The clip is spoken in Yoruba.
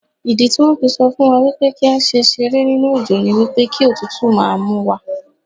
Ìdítí wón fi sọ fún wa wípé kí á ṣe ṣeré nínú òjò ni wípé kí òtútù máa múwa.